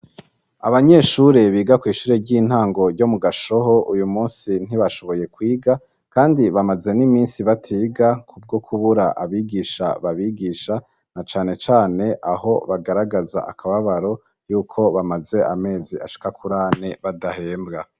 abanyeshure biga ku ishure ry'intango ryo mu gashoho uyu munsi ntibashoboye kwiga kandi bamaze n'iminsi batiga kubwo kubura abigisha babigisha na cane cane aho bagaragaza akababaro y'uko bamaze amezi ashika kurane badahembwa